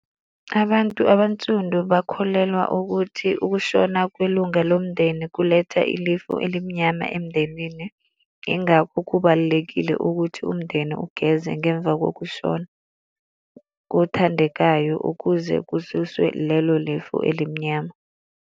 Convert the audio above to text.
Abantu abansundu bakholelwa ukuthi ukushona kwelunga lomndeni kuletha ilifu elimnyama emndenini, yingakho kubalulekile ukuthi umndeni ugeze ngemva kokushona kothandekayo ukuze kususwe lelo lifu elimnyama.